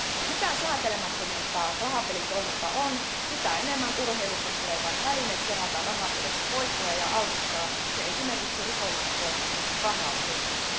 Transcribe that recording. Mitä säätelemättömämpää rahapelitoiminta on, sitä enemmän urheilusta tulee vain väline kerätä rahapeleissä voittoja ja altistaa se esimerkiksi rikollisen toiminnan rahanpesuun..